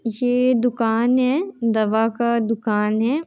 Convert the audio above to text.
ये दुकान है। दवा का दुकान है।